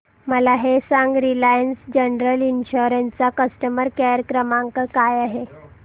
मला हे सांग रिलायन्स जनरल इन्शुरंस चा कस्टमर केअर क्रमांक काय आहे